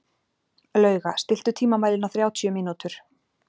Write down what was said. Lauga, stilltu tímamælinn á þrjátíu mínútur.